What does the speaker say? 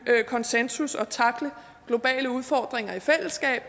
konsensus og at tackle globale udfordringer i fællesskab og